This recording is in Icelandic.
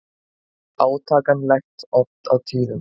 Átakanlegt oft á tíðum.